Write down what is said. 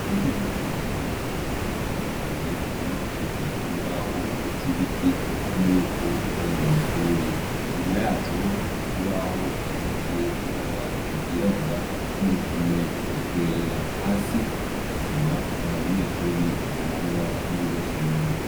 Intebe ziri ku mirongo itandukanye ,zubakishijwe imbaho z'ibiti ubona y'uko ari mw'ishuri .Inyuma yazo hari ikibaho gisize ibara ryirabura n'uruhome rwera. Hasi hari isima, nta banyeshure baragwa mur'iryo somero.